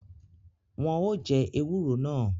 Wọn o jẹ ewúro náà